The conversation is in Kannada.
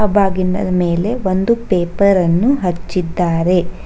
ಬಾಗಿಲನ್ ಮೇಲೆ ಒಂದು ಪೇಪರ್ ಅನ್ನು ಹಚ್ಚಿದ್ದಾರೆ.